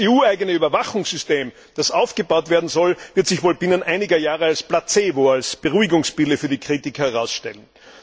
Das EU eigene Überwachungssystem, das aufgebaut werden soll, wird sich wohl binnen einiger Jahre als Placebo, als Beruhigungspille für die Kritiker herausstellen.